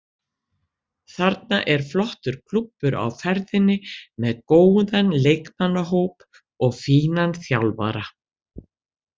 Þarna er flottur klúbbur á ferðinni með góðan leikmannahóp og fínan þjálfara.